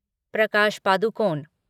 Prakash Padukone